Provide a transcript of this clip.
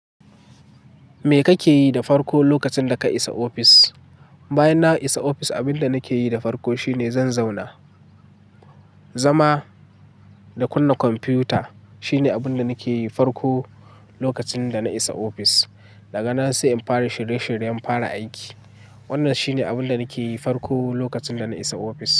Me kake yi da farko lokacin da ka isa ofis? Bayan na isa ofis, abinda nake yi da farko shine zan zauna, zama da kunna kwamfiyuta. Shine abunda nake yi farko lokacin da na isa ofis. Daga nan sai in fara shirye-shiryen fara aiki. Wannan shine abinda nake yi farko lokacin da na isa ofis.